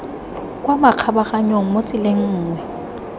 kwa makgabaganyong mo tseleng nngwe